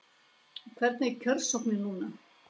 Hvernig er kjörsóknin núna?